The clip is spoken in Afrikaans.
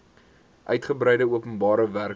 uitgebreide openbare werke